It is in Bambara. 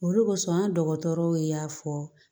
Olu kosɔn an dɔgɔtɔrɔw y'a fɔ